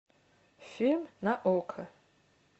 фильм на окко